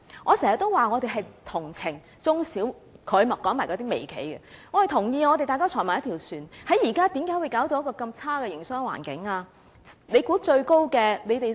我經常說，我們是同情中小企的——他還提及那些微企——我們同意，大家坐在同一條船上，為何現在會弄得營商環境如此惡劣呢？